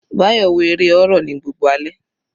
Bayo wo eré horror ní gbogbo alẹ́.